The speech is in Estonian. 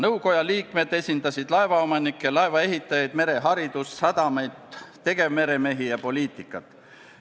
Nõukoja liikmed esindasid laevaomanikke, laevaehitajaid, mereharidust, sadamaid, tegevmeremehi ja poliitikat.